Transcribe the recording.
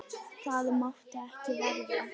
Það mátti ekki verða.